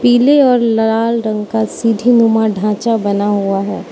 पीले और लाल रंग का सीढ़ी नुमा ढांचा बना हुआ है।